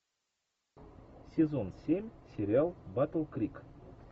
сезон семь сериал батл крик